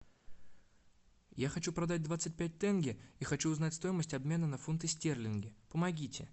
я хочу продать двадцать пять тенге и хочу узнать стоимость обмена на фунты стерлинги помогите